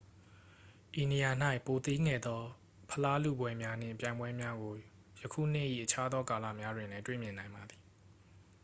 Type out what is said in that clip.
ဤနေရာ၌ ပိုသေးငယ်သော ဖလားလုပွဲများနှင့် ပြိုင်ပွဲများကို ယခုနှစ်၏ အခြားသောကာလများတွင်လည်း တွေ့မြင်နိုင်ပါသည်